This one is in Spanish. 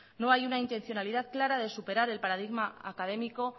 no hay una intencionalidad clara de superar el paradigma académico